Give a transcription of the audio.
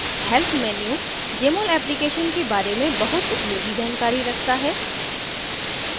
help menu jmol application के बारे में बहुत उपयोगी जानकारी रखता है